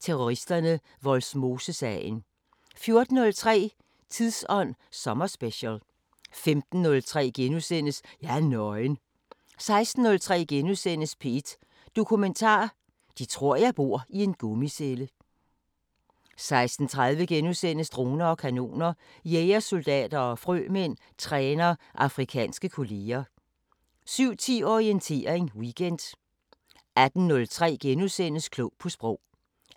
Terroristerne: Vollsmosesagen * 14:03: Tidsånd sommerspecial 15:03: Jeg er nøgen * 16:03: P1 Dokumentar: 'De tror jeg bor i en gummicelle' * 16:30: Droner og kanoner: Jægersoldater og frømænd træner afrikanske kolleger * 17:10: Orientering Weekend 18:03: Klog på Sprog * 18:48: Koplevs køkken (lør-søn) 18:55: Danmark Kort 19:03: Masterclasses – Søren Ulrik Thomsen: Digtet *